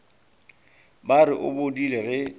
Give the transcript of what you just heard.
ba re o bodile ge